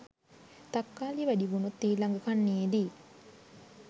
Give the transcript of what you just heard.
තක්කාලි වැඩිවුණොත් ඊළඟ කන්නයේදී